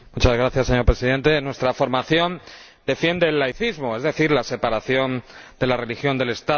Señor Presidente, nuestra formación defiende el laicismo, es decir, la separación de la religión y el Estado.